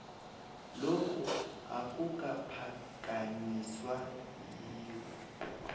lokhu akukaphakanyiswa yiwho